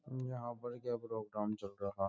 यहाँ पर क्या प्रोग्राम चल रहा है ।